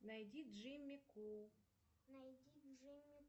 найди джимми кул